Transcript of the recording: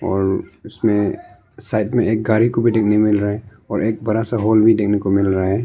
और उसमें साइड में एक गाड़ी को भी देखने मिल रहा है और एक बड़ा सा होल भी देखने को मिल रहा है।